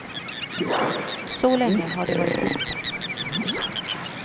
Så länge har de varit gifta.